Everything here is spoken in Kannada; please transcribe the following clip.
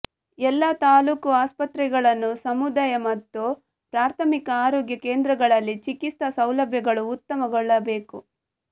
ಎಲ್ಲಾ ತಾಲೂಕು ಆಸ್ಪತ್ರೆಗಳನ್ನು ಸಮು ದಾಯ ಮತ್ತು ಪ್ರಾಥಮಿಕ ಆರೋಗ್ಯ ಕೇಂದ್ರಗಳಲ್ಲಿ ಚಿಕಿತ್ಸಾ ಸೌಲಭ್ಯಗಳು ಉತ್ತಮ ಗೊಳ್ಳಬೇಕು